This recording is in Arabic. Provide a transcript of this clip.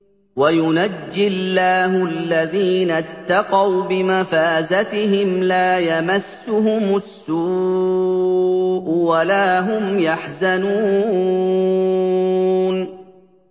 وَيُنَجِّي اللَّهُ الَّذِينَ اتَّقَوْا بِمَفَازَتِهِمْ لَا يَمَسُّهُمُ السُّوءُ وَلَا هُمْ يَحْزَنُونَ